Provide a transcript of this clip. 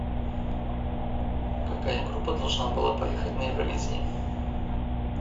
какая группа должна была поехать на евровидение